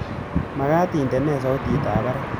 Magat indene sautitab barak